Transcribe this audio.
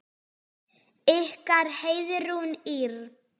Ykkar Heiðrún Ýrr.